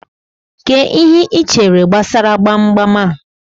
Kee ihe ichere gbasalu gbamgbam a?